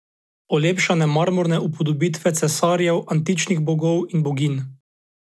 Olepšane marmorne upodobitve cesarjev, antičnih bogov in boginj.